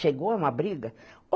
Chegou, é uma briga.